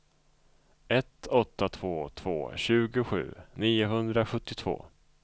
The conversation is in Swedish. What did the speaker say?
ett åtta två två tjugosju niohundrasjuttiotvå